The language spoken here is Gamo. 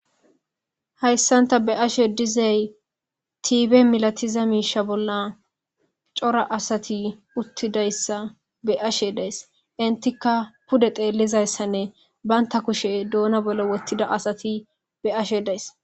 hayssan ta be'ashe dizey tiibe milatiza miisha bolla cora asati uttidayssa be'ashe dees intika pude xeellizayssanne baynta kushe doona bollo wottida asati be'ashe dayis